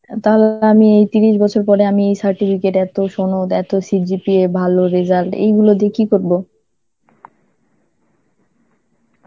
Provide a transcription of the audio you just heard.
আ তাহলে তো আমি এই তিরিশ বছর পরে আমি এই certificate এত, সোনদ এত, CGPA ভালো result, এইগুলো দিয়ে কি করব?